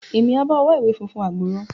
Emi a ba ọ wá ìwé fúnfún gbọrọ.